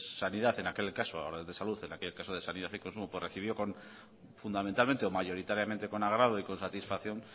sanidad en aquel caso ahora de salud y en aquel caso se sanidad y consumo recibió con fundamentalmente o mayoritariamente con agrado y satisfacción